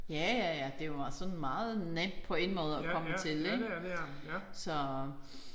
Ja ja ja det var sådan meget nemt på en måde at komme til ik så